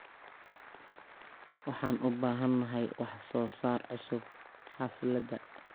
Waxaan u baahanahay wax soo saar cusub xafladda.